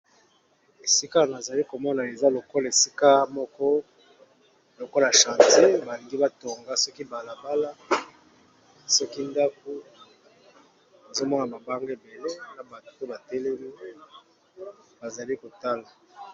Esika nazali komona eza lokola esika moko lokola chantier, ba lingi batonga soki bala bala soki ndaku nazo mona mabanga ebele na batu pe ba telemi bazali kotala.